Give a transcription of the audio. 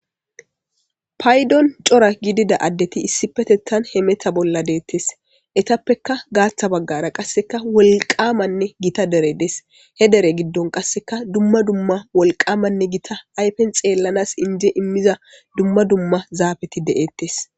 Paydon cora gidida adeti issipetetan hemeta bolla detes etapeka gatha bagara qasekka wolqamanne gita derey des he dere gidon qasekka dumma dumma wolqamanne gita afen xelana ije imiza dumma dumma zafeti de'etes